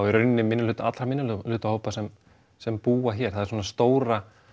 í rauninni allra minnihlutahópa sem sem búa hér það er svona stóra